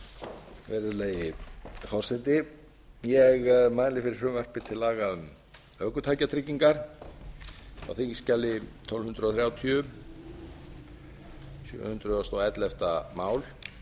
virðulegi forseti ég mæli fyrir frumvarpi til laga um ökutækjatryggingar á þingskjali tólf hundruð þrjátíu hundrað og ellefta mál